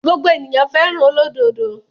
Gbogbo ènìyàn fẹ́ràn olódodo.